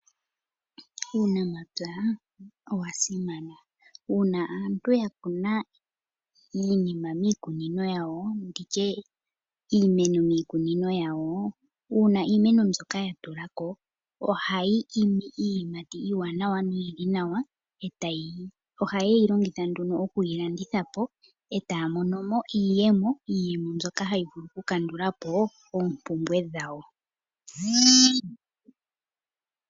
Uunamapya owa simana. Uuna aantu ya kuna iinima miikunino yawo nditye ya kuna iimeno miikunino yawo. Uuna Iimeno mbyoka ya tula ko ohayi imi iiyimati iiwanawa noyili nawa . Ohayeyi longitha nduno okuyi landitha po etaa mono mo iiyemo, iiyemo mbyoka hayi vulu ku kandula po oompumbwe dhawo.